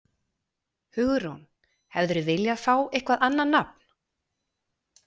Hugrún: Hefðirðu viljað fá eitthvað annað nafn?